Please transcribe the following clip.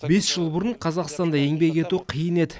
бес жыл бұрын қазақстанда еңбек ету қиын еді